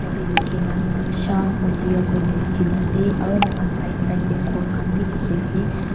tah teh likhi na sham audio koi na likhi na ase aru moikhan side side teh ghor khan bhi dikhi ase.